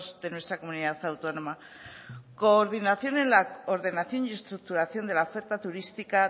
de nuestra comunidad autónoma coordinación en la ordenación y estructuración de la oferta turística